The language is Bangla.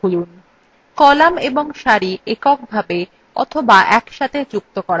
কলাম এবং সারি এক এক করে অথবা একসাথে যুক্ত করা যায়